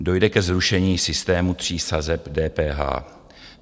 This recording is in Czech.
Dojde ke zrušení systému tří sazeb DPH.